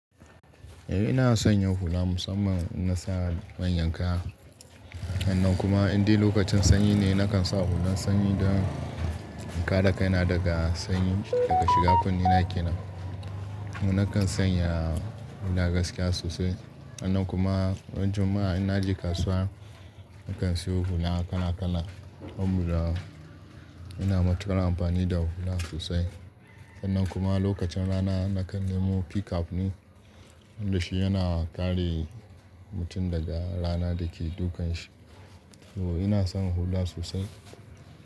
Eh ina son yin hula musamman in na sa manyan kaya. Hannan kuma idai lokacin sanyi ne, nakan sa hulan sanyi don in kare kaina daga sanyi da ka shiga kunne na kenan. Nakan sanya hula gaskiya sosai. Hannan kuma ran Juma'a ina je kasuwa, nakan siyo hula kala kala. Saboda ina matukar amfani da hula sosai. Sannan kuma lokacin rana nakan nemo p cap ne, tunda shi yana kare mutum daga rana da ke dukan shi. To ina son hula sosai.